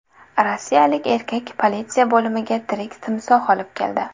Rossiyalik erkak politsiya bo‘limiga tirik timsoh olib keldi.